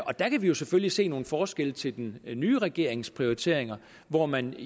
og der kan vi selvfølgelig se nogle forskelle til den nye regerings prioriteringer hvor man